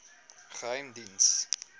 geheimediens